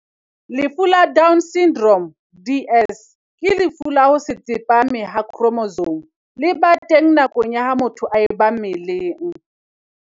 Lefu la Down Syndrome, DS, ke lefu la ho se tsepame ha khromosome le ba teng nakong ya ha motho a ba mmeleng.